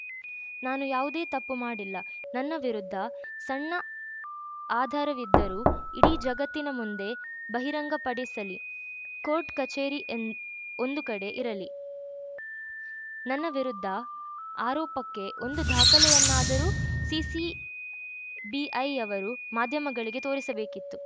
ನಾನು ಯಾವುದೇ ತಪ್ಪು ಮಾಡಿಲ್ಲ ನನ್ನ ವಿರುದ್ಧ ಸಣ್ಣ ಆಧಾರವಿದ್ದರೂ ಇಡೀ ಜಗತ್ತಿನ ಮುಂದೆ ಬಹಿರಂಗಪಡಿಸಲಿ ಕೋರ್ಟ್‌ಕಚೇರಿ ಎಂದ್ ಒಂದು ಕಡೆ ಇರಲಿ ನನ್ನ ವಿರುದ್ಧ ಆರೋಪಕ್ಕೆ ಒಂದು ದಾಖಲೆಯನ್ನಾದರೂ ಸಿಸಿಬಿಐಯವರು ಮಾಧ್ಯಮಗಳಿಗೆ ತೋರಿಸಬೇಕಿತ್ತು